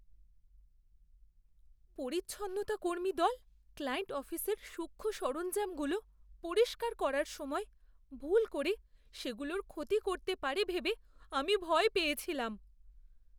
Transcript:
পরিচ্ছন্নতাকর্মী দল ক্লায়েন্ট অফিসের সূক্ষ্ম সরঞ্জামগুলো পরিষ্কার করার সময় ভুল করে সেগুলোর ক্ষতি করতে পারে ভেবে আমি ভয় পেয়েছিলাম।